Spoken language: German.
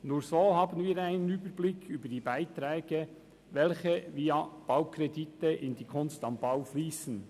Nur so haben wir einen Überblick über die Beiträge, welche via Baukredite in die «Kunst am Bau» fliessen.